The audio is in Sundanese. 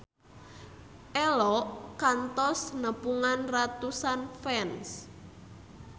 Ello kantos nepungan ratusan fans